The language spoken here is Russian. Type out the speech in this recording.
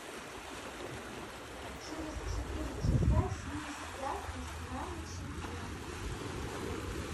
через четыре часа снизь яркость на ночнике